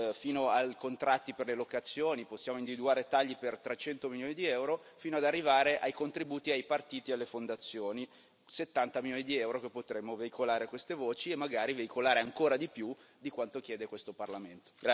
fino ai contratti per le locazioni, dove possiamo individuare tagli per 300 milioni di EUR, fino ad arrivare ai contributi ai partiti e alle fondazioni, 70 milioni di EUR, che potremmo veicolare a queste voci e magari veicolare ancora di più di quanto chiede questo Parlamento.